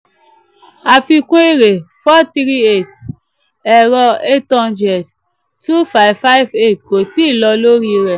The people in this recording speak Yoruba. àfikún èrè: 438; ẹ̀rọ: 800; 2558 kò tíì lọ lórí rẹ̀.